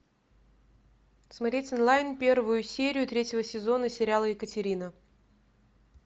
смотреть онлайн первую серию третьего сезона сериала екатерина